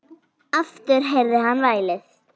Aftur heyrði hann vælið.